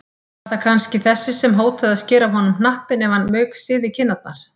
Var það kannski þessi sem hótaði að skera af honum hnappinn ef hann mauksyði kinnarnar?